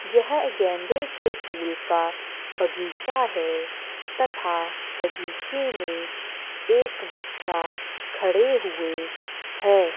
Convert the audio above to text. यह गेंदें के फुल का बगीचा है तथा बगीचे में एक बच्चा खड़े हुए है।